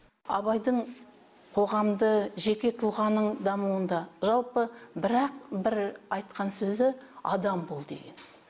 абайдың қоғамды жеке тұлғаның дамуында жалпы бір ақ бір айтқан сөзі адам бол деген